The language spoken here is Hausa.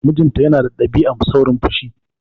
Mijinta na da ɗabi'ar saurin fushi.